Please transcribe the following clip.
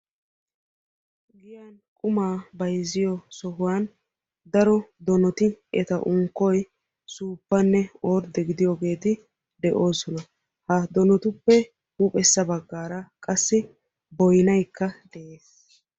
giyan qumaa bayzziyo sohuwan daro donoti eta unkkoy suuppanne ordde gidiyogeti de"oosona. Ha donotuppe huuphessa baggaara qassi boynaykka de"es.